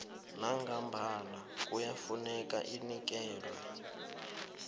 nangambala kuyafuneka inikelwe